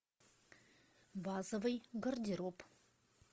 базовый гардероб